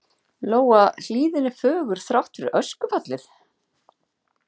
Lóa: Hlíðin er fögur, þrátt fyrir öskufallið?